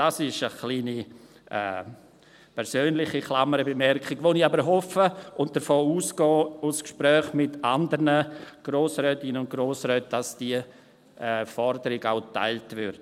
Dies ist eine kleine persönliche Klammerbemerkung, von der ich aber hoffe und bei der ich aufgrund von Gesprächen mit anderen Grossrätinnen und Grossräten davon ausgehe, dass diese Forderung auch geteilt wird.